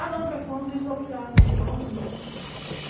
Ah, não, porque fulano desviou milhares, milhões, milhões.